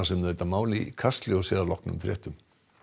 um þetta mál í Kastljósi að loknum fréttum